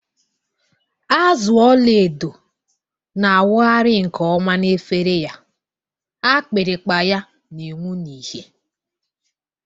Azụ ọla edo na-awụgharị nke ọma n’efere ya, akpịrịkpa ya na-enwu n’ìhè.